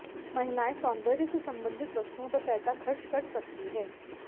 महिलाएँ सौन्दर्य से संबंधित वस्तुओं पर पैसा खर्च कर सकती है